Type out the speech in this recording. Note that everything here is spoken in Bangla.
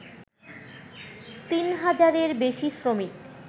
তিন হাজারের বেশি শ্রমিক